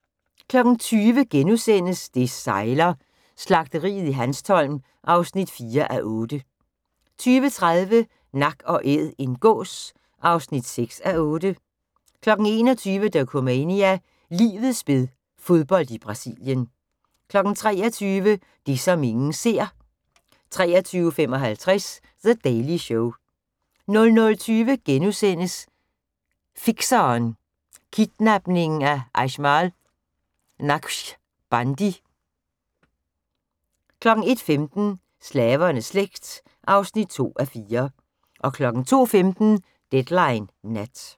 20:00: Det sejler - Slagteriet i Hanstholm (4:8)* 20:30: Nak & æd - en gås (6:8) 21:00: Dokumania: Livets spil – fodbold i Brasilien 23:00: Det som ingen ser 23:55: The Daily Show 00:20: Fikseren: Kidnapningen af Ajmal Naqshbandi * 01:15: Slavernes slægt (2:4) 02:15: Deadline Nat